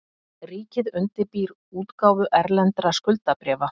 Ríkið undirbýr útgáfu erlendra skuldabréfa